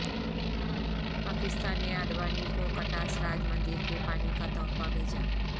پاکستان نے اڈوانی کو کٹاس راج مندر کے پانی کا تحفہ بھیجا